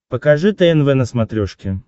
покажи тнв на смотрешке